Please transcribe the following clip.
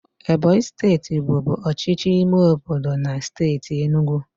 Ebonyi steeti bụbu ọchịchị ime obodo na steeti enugu.